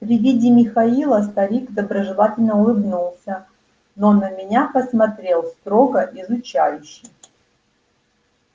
при виде михаила старик доброжелательно улыбнулся но на меня посмотрел строго изучающе